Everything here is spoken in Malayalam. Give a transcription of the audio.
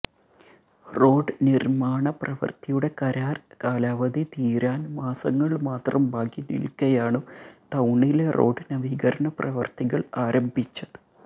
റോഡ് നിര്മാണ പ്രവൃത്തിയുടെ കരാര് കാലാവധി തീരാന് മാസങ്ങള് മാത്രം ബാക്കി നില്ക്കെയാണു ടൌണിലെ റോഡ് നവീകരണ പ്രവൃത്തികള് ആരംഭിച്ചത്